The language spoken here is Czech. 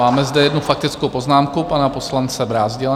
Máme zde jednu faktickou poznámku pana poslance Brázdila.